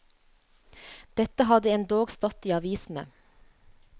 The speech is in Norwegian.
Det hadde endog stått i avisene.